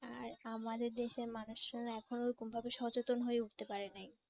আর আমাদের দেশের মানুষরা না এখনও ওরকম ভাবে সচেতন হয়ে উঠতে পারে নাই।